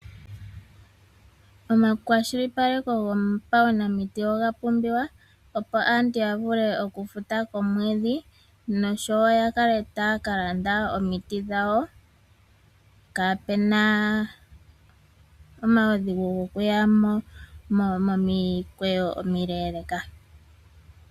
Omakwashilipaleko gopanaumiti oga pumbiwa opo aantu yavule okufuta komwedhi noshowo ya kale taalanda omiti dhawo kaapena omaudhigu gokuya momikweyo omileeleka.